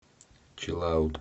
чилаут